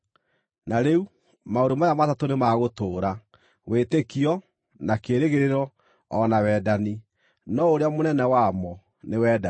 Na rĩu, maũndũ maya matatũ nĩ ma gũtũũra: wĩtĩkio, na kĩĩrĩgĩrĩro, o na wendani. No ũrĩa mũnene wamo nĩ wendani.